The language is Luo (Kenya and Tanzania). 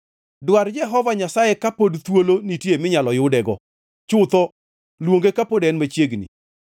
Dwar Jehova Nyasaye ka pod thuolo nitie minyalo yudego; chutho luonge kapod en machiegni.